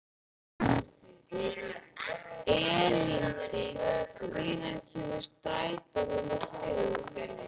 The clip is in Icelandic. Elíndís, hvenær kemur strætó númer þrjú?